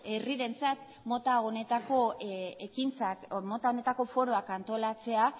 herrirentzat mota honetako ekintzak mota honetako foroak antolatzea